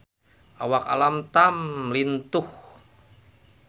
Awak Alam Tam lintuh